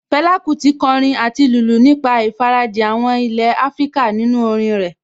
Fẹlá Kúti kọrin àti lùlù nípa ìfarajìn àwọn ilé Áfríkà nínú orin rẹ̀